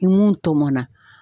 Ni mun tɔmɔnna.